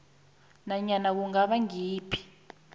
nanyana kungaba ngayiphi